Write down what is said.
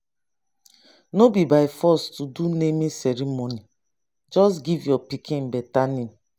no be by force to do naming ceremony. just give your pikin better name.